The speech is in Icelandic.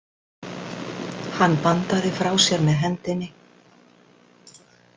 Hann bandaði frá sér með hendinni.